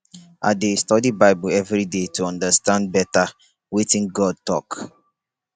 i dey study bible every day to understand better wetin god talk